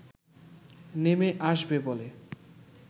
নেমে আসবে বলে